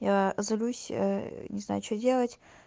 я злюсь ээ не знаю что делать